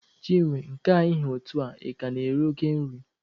Chinwe, nke a ị ha etu a, ị ka na-eri oke nri?